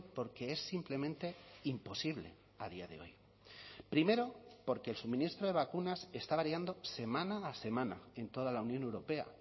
porque es simplemente imposible a día de hoy primero porque el suministro de vacunas está variando semana a semana en toda la unión europea